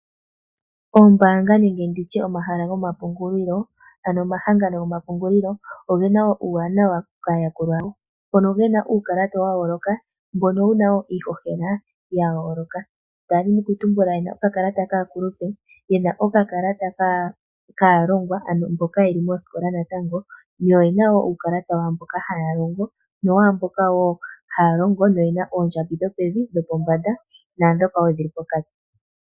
Oombanga nenge nditye omahala goma pungulilo ano omahangano gomapungulilo ogena uuwanawa kaayakulwa yawo moka yena uukalata wa yooloka mbono wuna woo iihohela ya yooloka, ndadhina oku tumbula yena uukalata kaakulupe, yena okakalata kaalongwa mboka yeli mosikola natango yo oyena wo uukalata waamboka ihaya longo nowaamboka haya longo yena oondjambi dho pevi, dhopombanda naadhooka woo dhili pokati.